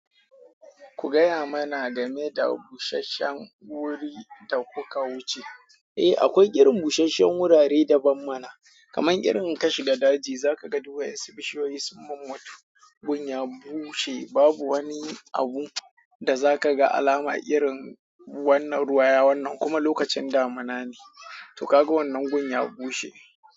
Ku gaya mana game da busasshen wuri da kuka wuce. Eh, akwai irin busasshen wurare daban mana, kaman irin ka shiga daji. Zaka ga duwatsu, bishiyoyi sun mummutu. Gun ya bushe. Babu wani abu da zaka ga alama irin wannan ruwaya wannan kuma lokacin damuna ne. To ka ga wannan gun ya bushe.